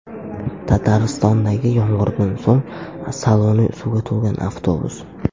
Tataristondagi yomg‘irdan so‘ng saloni suvga to‘lgan avtobus.